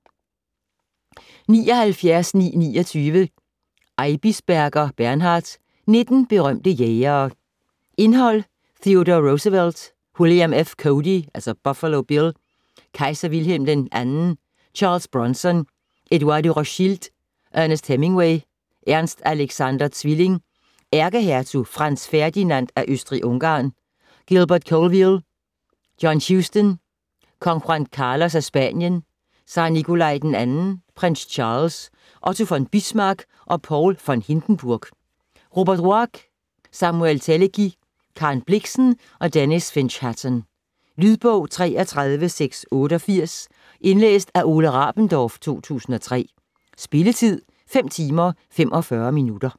79.929 Eibisberger, Bernhard: Nitten berømte jægere Indhold: Theodore Roosevelt ; William F. Cody (Buffalo Bill) ; Kejser Wilhelm II ; Charles Bronson ; Edouard de Rothschild ; Ernest Hemingway ; Ernst Alexander Zwilling ; Ærkehertug Franz Ferdinand af Østrig-Ungarn ; Gilbert Colvile ; John Huston ; Kong Juan Carlos af Spanien ; Zar Nikolai II ; Prins Charles ; Otto von Bismarck og Paul von Hindenburg ; Robert Ruark ; Samuel Teleki ; Karen Blixen og Denys Finch-Hatton. Lydbog 33688 Indlæst af Ole Rabendorf, 2003. Spilletid: 5 timer, 45 minutter.